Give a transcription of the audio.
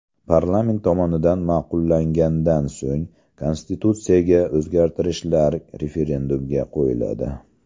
Parlament tomonidan ma’qullangandan so‘ng konstitutsiyaga o‘zgartirishlar referendumga qo‘yiladi.